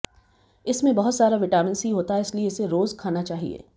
इसमें बहुत सारा विटामिन सी होता है इसलिये इसे रोज खाना चाहिये